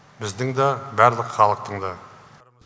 біздің да барлық халықтың да